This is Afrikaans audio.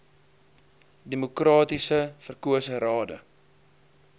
demokraties verkose rade